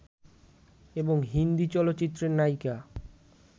এবং হিন্দী চলচ্চিত্রের নায়িকা